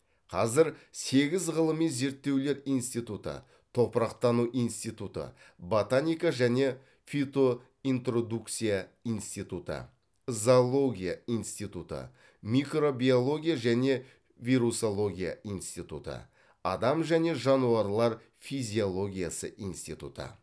қазір сегіз ғылыми зерттеулер институты топырақтану институты ботаника және фитоинтродукция институты зоология институты микробиология және вирусология институты адам және жануарлар физиологиясы институты